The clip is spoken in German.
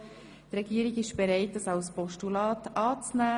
Die Regierung ist bereit, den Vorstoss als Postulat anzunehmen.